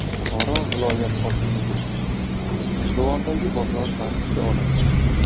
Buxoro viloyat hokimligi: G‘ijduvondagi bozor tartibga olindi.